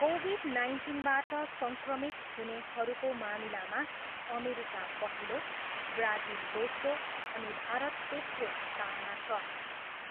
covid नाइन्टिनबाट सङ्क्रमित हुनेहरूको मामिलामा अमेरिका पहिलो, ब्राजिल दोस्रो अनि भारत तेस्रो स्थानमा छ,